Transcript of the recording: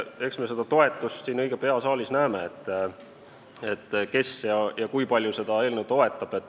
Eks me seda toetust siin saalis õige pea näeme, kes ja kui palju seda eelnõu toetab.